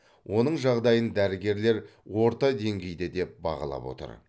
оның жағдайын дәрігерлер орта деңгейде деп бағалап отыр